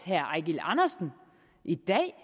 herre eigil andersen i dag